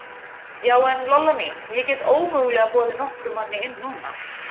Já, en, Lolla mín, ég get ómögulega boðið nokkrum manni inn núna.